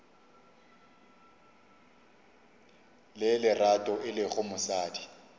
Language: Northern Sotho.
le lerato e lego mosadi